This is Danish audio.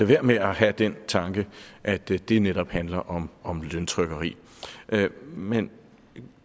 være med at have den tanke at det det netop handler om om løntrykkeri men